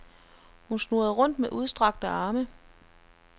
Hun snurrede rundt med udstrakte arme.